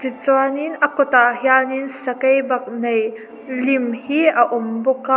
tichuanin a kut ah hianin sakeibaknei lim hi a awm bawk a.